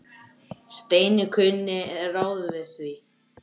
Steini kunni ráð við því.